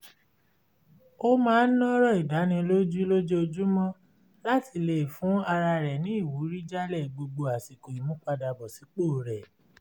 ó máa ń ọ̀rọ̀ ìdánilójú lójoojúmọ́ láti lè fún ara rẹ̀ ní ìwúrí jálẹ̀ gbogbo àsìkò ìmúpadàbọ̀sípò rẹ̀